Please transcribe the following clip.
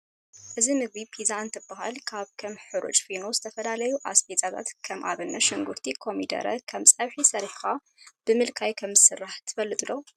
እዚ ምግቢ ፒዛ እንትበሃል ካብ ከም ሕሩጭ ፊኖ ዝተፈላለዩ ኣስበዛታት ከም ኣብነት ሽንጉርቲ፣ ኮሚደረ ከም ፀብሒ ሰሪሕካ ብምልካይ ከም ዝስራሕ ትፈልጥ ዶ?